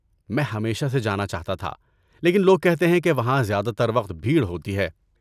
میں ہمیشہ سے جانا چاہتا تھا، لیکن لوگ کہتے ہیں کہ وہاں زیادہ تر وقت بھیڑ ہوتی ہے۔